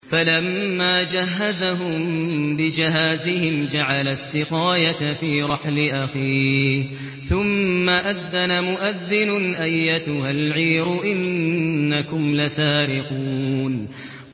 فَلَمَّا جَهَّزَهُم بِجَهَازِهِمْ جَعَلَ السِّقَايَةَ فِي رَحْلِ أَخِيهِ ثُمَّ أَذَّنَ مُؤَذِّنٌ أَيَّتُهَا الْعِيرُ إِنَّكُمْ لَسَارِقُونَ